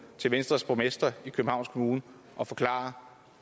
til venstres borgmester i københavns kommune og forklare